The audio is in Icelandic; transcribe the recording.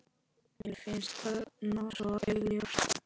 Mér finnst það nú svo augljóst.